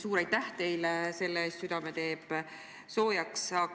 Suur aitäh teile selle eest, südame teeb soojaks!